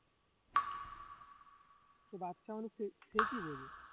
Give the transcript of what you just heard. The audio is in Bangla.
সে বাচ্চা মানুষ সে~ সে কি বোঝে